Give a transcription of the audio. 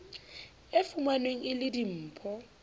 e fumanweng e le dimpho